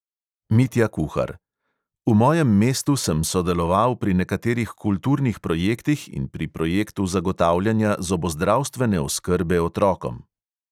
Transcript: Mitja kuhar: "v mojem mestu sem sodeloval pri nekaterih kulturnih projektih in pri projektu zagotavljanja zobozdravstvene oskrbe otrokom."